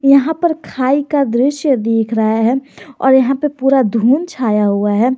यहां पर खाइ का दृश्य देख रहा है और यहां पर पूरा धुंध छाया हुआ है।